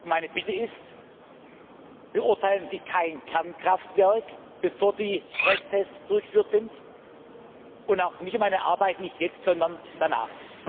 Meine Bitte ist, beurteilen Sie kein Kernkraftwerk, bevor die Stresstests durchgeführt sind und auch mich und meine Arbeit nicht jetzt, sondern danach.